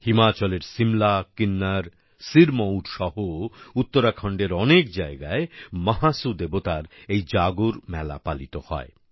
হিমাচলের সিমলা কিন্নর সিরমৌর সহ উত্তরাখণ্ডের অনেক জায়গায় মহাসু দেবতার এই জাগর উৎসব পালিত হয়